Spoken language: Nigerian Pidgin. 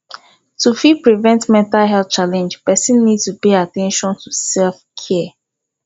to fit prevent mental health challenge person need to pay at ten tion to self care